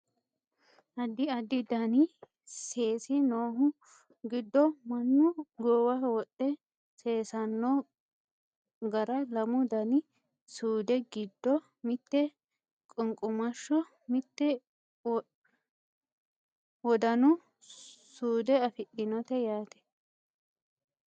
addi addi dani seesi noohu giddo mannu goowaho wodhe seesanno gara lamu dani suude giddo mitte qunqumashsho mitte wodanu suude afidhinote yaate